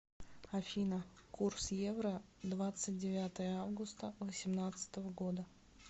афина курс евро двадцать девятое августа восемнадцатого года